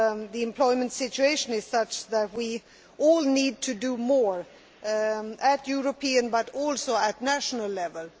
The employment situation is such that we all need to do more at European, but also at national, level.